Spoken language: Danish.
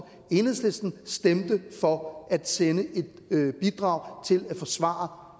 enhedslisten stemte for at sende et bidrag til at forsvare